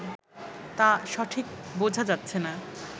তা সঠিক বোঝা যাচ্ছে না